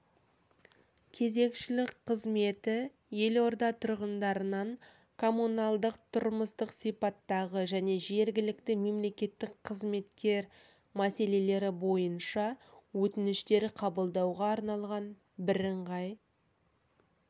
кезекшілік қызметі елорда тұрғындарынан комуналдық-тұрмыстық сипаттағы және жергілікті мемлекеттік қызметтер мәселелері бойынша өтініштер қабылдауға арналған бірыңғай